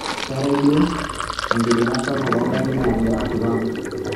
keetae duo enkidinga sapuk oo ngarin angira ashuko ang